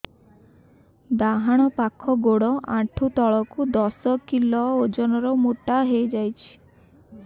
ଡାହାଣ ପାଖ ଗୋଡ଼ ଆଣ୍ଠୁ ତଳକୁ ଦଶ କିଲ ଓଜନ ର ମୋଟା ହେଇଯାଇଛି